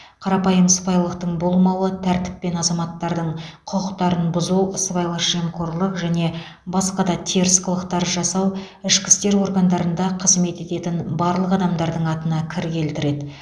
қарапайым сыпайылықтың болмауы тәртіп пен азаматтардың құқықтарын бұзу сыбайлас жемқорлық және басқа да теріс қылықтар жасау ішкі істер органдарында қызмет ететін барлық адамдардың атына кір келтіреді